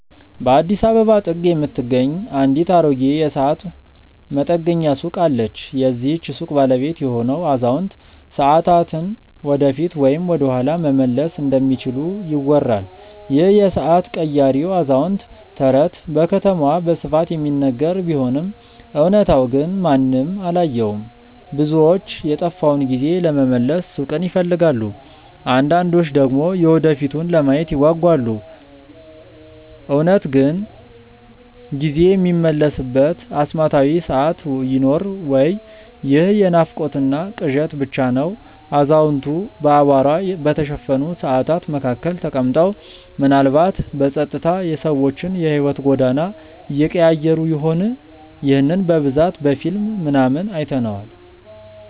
በአዲስ አበባ ጥግ የምትገኝ አንዲት አሮጌ የሰዓት መጠገኛ ሱቅ አለች። የዚህች ሱቅ ባለቤት የሆነው አዛውንት፣ ሰዓታትን ወደፊት ወይም ወደኋላ መመለስ እንደሚችሉ ይወራል ይህ የሰዓት ቀያሪው አዛውንት ተረት በከተማዋ በስፋት የሚነገር ቢሆንም እውነታው ግን ማንም አላየውም። ብዙዎች የጠፋውን ጊዜ ለመመለስ ሱቁን ይፈልጋሉ አንዳንዶች ደግሞ የወደፊቱን ለማየት ይጓጓሉ። እውነት ግን ጊዜ የሚመለስበት አስማታዊ ሰዓት ይኖር ወይ ይህ የናፍቆትና ቅዠት ብቻ ነው አዛውንቱ በአቧራ በተሸፈኑ ሰዓታት መካከል ተቀምጠው፣ ምናልባትም በጸጥታ የሰዎችን የሕይወት ጎዳና እየቀያየሩ ይሆን? ይህንን በብዛት በፊልም ምናምን አይተነዋል